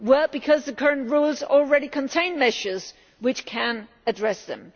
Because the current rules already contain measures which can address them.